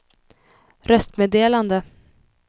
röstmeddelande